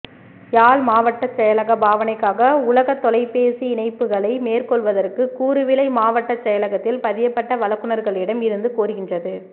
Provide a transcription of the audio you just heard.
யாழ் மாவட்டச்செயலகப் பாவனைக்காக உள்ளகத் தொலைபேசி இணைப்புக்களை மேற்கொள்வதற்கு கூறுவிலை மாவட்டச் செயலகத்தில் பதியப்பட்ட வழங்குனர்களிடம் இருந்து கோருகின்றது